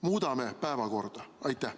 Muudame päevakorda!